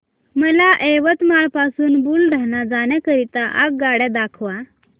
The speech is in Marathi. मला यवतमाळ पासून बुलढाणा जाण्या करीता आगगाड्या दाखवा